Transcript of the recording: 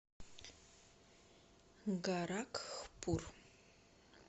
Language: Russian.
горакхпур